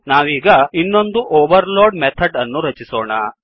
ನಾವೀಗ ಇನ್ನೊಂದು overload method ಅನ್ನು ರಚಿಸೋಣ